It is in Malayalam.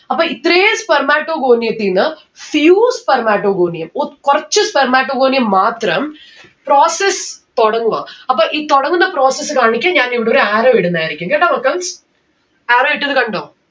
അപ്പൊ ഇത്രേം spermatogonium ത്തീന്ന് few spermatogonium ഒത് കൊറച്ച് spermatogonium മാത്രം process തൊടങ്ങുവാ അപ്പൊ ഈ തോടങ്ങുന്ന process കാണിക്കാൻ ഞാൻ ഇവിടെ ഒരു arrow ഇടുന്നതായിരിക്കും കേട്ട arrow ഇട്ടത് കണ്ടോ